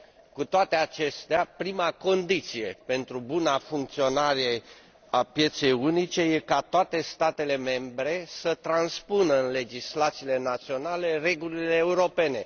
Cu toate acestea, prima condiție pentru buna funcționare a pieței unice este ca toate statele membre să transpună în legislațiile naționale regulile europene